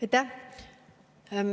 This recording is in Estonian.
Aitäh!